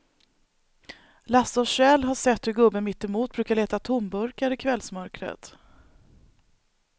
Lasse och Kjell har sett hur gubben mittemot brukar leta tomburkar i kvällsmörkret.